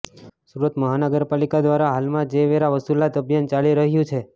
સુરત મહાનગર પાલિકા દ્વારા હાલમાં જે વેરા વસુલાત અભિયાન ચાલી રહયુ છે